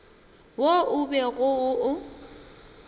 wo o bego o o